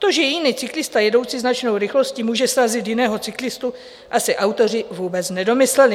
To, že jiný cyklista jedoucí značnou rychlostí může srazit jiného cyklistu, asi autoři vůbec nedomysleli.